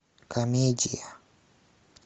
комедия